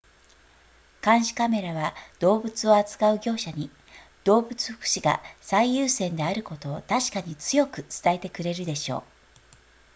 「監視カメラは動物を扱う業者に、動物福祉が最優先であることを確かに強く伝えてくれるでしょう」